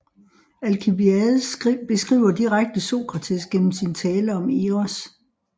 Alkibiades beskriver direkte Sokrates gennem sin tale om Eros